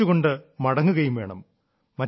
പുഞ്ചിരിച്ചു കൊണ്ട് മടങ്ങുകയും വേണം